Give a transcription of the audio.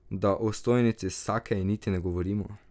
Da o stojnici s sakeji niti ne govorimo.